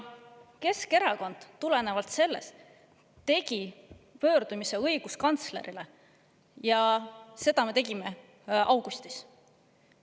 Sellest tulenevalt tegi Keskerakond pöördumise õiguskantslerile, seda me tegime augustis.